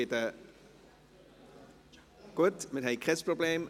– Gut, wir haben kein Problem.